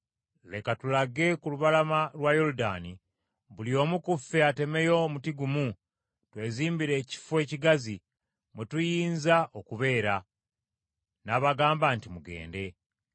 Leka tulage ku lubalama lwa Yoludaani, buli omu ku ffe atemeyo omuti gumu, twezimbire ekifo ekigazi mwe tuyinza okubeera.” N’abagamba nti, “Mugende.”